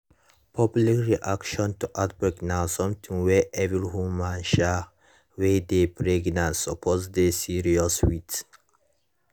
public reaction to outbreak na something wey every woman um wey dey pregnant suppose dey serious with